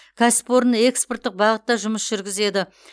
кәсіпорын экспорттық бағытта жұмыс жүргізеді